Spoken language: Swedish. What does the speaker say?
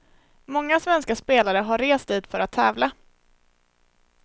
Många svenska spelare har rest dit för att tävla.